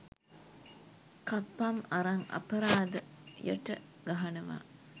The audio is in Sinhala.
කප්පම් අරන් අපරාධ යට ගහනවා